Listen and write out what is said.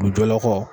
U dɔla kɔ